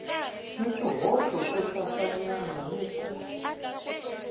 ni swihoxo swohlayanyana ni ku